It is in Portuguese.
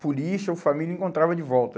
Por isso, a família encontrava de volta.